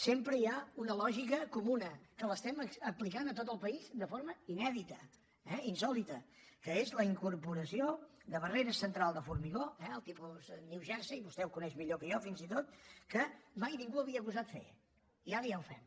sempre hi ha una lògica comuna que l’estem aplicant a tot el país de forma inèdita eh insòlita que és la incorporació de barrera central de formigó el tipus new jersey vostè ho coneix millor que jo fins i tot que mai ningú havia gosat fer i ara ja ho fem